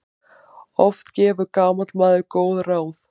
Oft gefur gamall maður góð ráð.